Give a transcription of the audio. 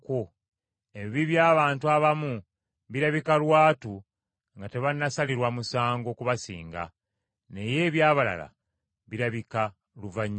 Ebibi by’abantu abamu birabika lwatu nga tebannasalirwa musango kubasinga, naye eby’abalala birabika luvannyuma.